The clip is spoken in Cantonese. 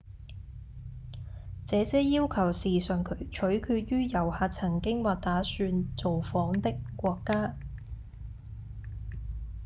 這些要求時常取決於遊客曾經或打算造訪的國家